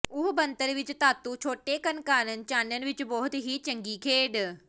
ਉਹ ਬਣਤਰ ਵਿਚ ਧਾਤੂ ਛੋਟੇਕਣ ਕਾਰਨ ਚਾਨਣ ਵਿਚ ਬਹੁਤ ਹੀ ਚੰਗੀ ਖੇਡੀ